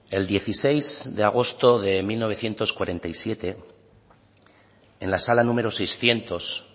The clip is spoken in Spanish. el dieciséis de agosto de mil novecientos cuarenta y siete en la sala número seiscientos